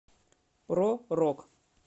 про рок